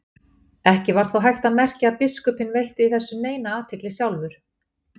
Ekki var þó hægt að merkja að biskupinn veitti þessu neina athygli sjálfur.